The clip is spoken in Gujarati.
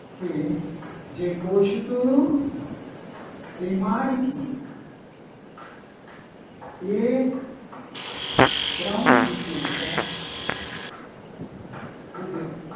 કે જે કોષ તું તે મારતું ક્રમ વિશે છે.